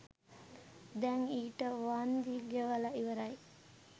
දැන් ඊට වන්දි ගෙවල ඉවරයි.